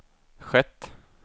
skett